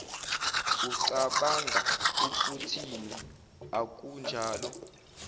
ucabanga ukuthini akunjalo